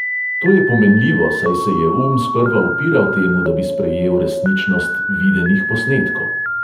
To je pomenljivo, saj se je um sprva upiral temu, da bi sprejel resničnost videnih posnetkov.